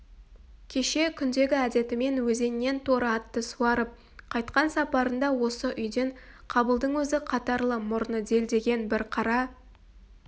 кеше күндегі әдетімен өзеннен торы атты суарып қайтқан сапарында осы үйден қабылдың өзі қатарлы мұрны делдиген бір қара